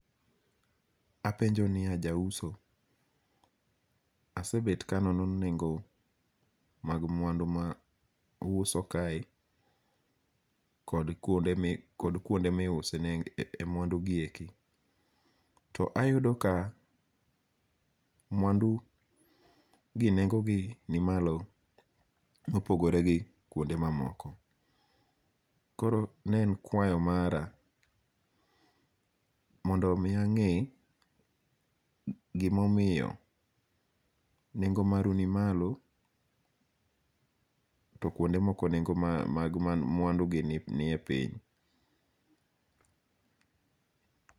Apenjo niya jauso, asebet ka anono nengo' mag mwandu ma uhuso kae kod kuonde miuse e mwandugi eki, to ayudo ka mwandugi nengo'gi nimalo mopogore gi kuonde mamoko, koro ne en kwayo mara mondo miya nge' gimomiyo nengo' maru nimalo to kuonde moko mwandu gi nie piny.